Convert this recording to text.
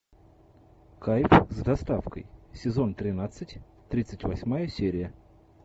кайф с доставкой сезон тринадцать тридцать восьмая серия